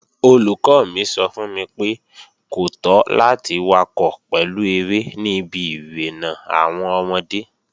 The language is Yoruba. Olùkọ́ mi sọ fún mi pé, kò tọ́ láti wakọ̀ pẹ̀lú eré ní ibi irénà àwọn ọmọdé